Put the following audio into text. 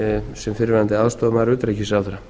sem fyrrverandi aðstoðarmaður utanríkisráðherra